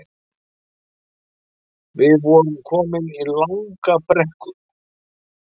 Við vorum komin í langa brekku